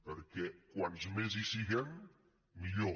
perquè com més hi siguem millor